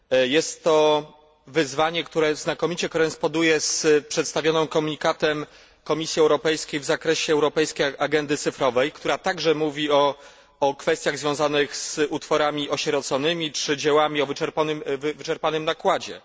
Jest to wyzwanie, które znakomicie koresponduje z przedstawionym komunikatem Komisji Europejskiej w zakresie europejskiej agendy cyfrowej, która także mówi o kwestiach związanych z utworami osieroconymi czy dziełami o wyczerpanym nakładzie.